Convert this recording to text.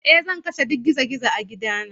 Eh, zan kashe duk gizo-gizo a gidana.